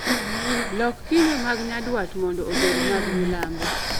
Lok kinde mag nyandwat mondo obed mag milambo